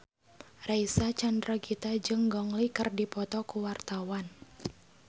Reysa Chandragitta jeung Gong Li keur dipoto ku wartawan